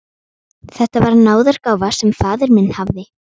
Þetta var náðargáfa sem faðir minn hafði.